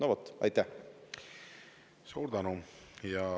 Suur tänu!